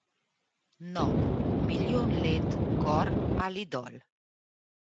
No, milijon let gor ali dol.